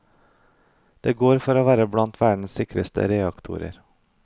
De går for å være blant verdens sikreste reaktorer.